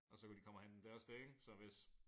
Og så kan de komme og hente dem det også det ik så hvis